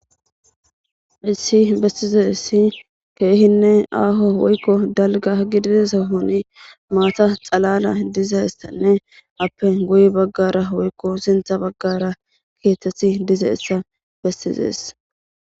Hausi bessizaysi keehinne Aho woyko dalga gidiza sohono maatay xaalala dizaysanne ape guye bagara woyko sintha bagara keethati dizaysa besses.